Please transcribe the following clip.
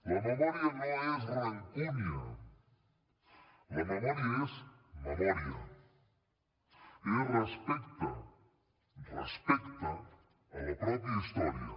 la memòria no és rancúnia la memòria és memòria és respecte respecte a la pròpia història